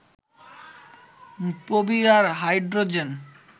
পৌভিয়্যর hydrogen